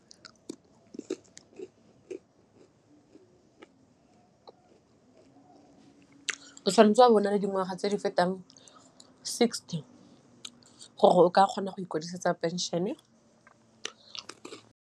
O thwanetse o a bo o na le dingwaga tse di fetang sixty gore o ka kgona go ikwadisetsa pension-e.